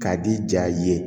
K'a di ja ye